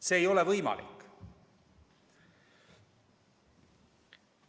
See ei ole võimalik.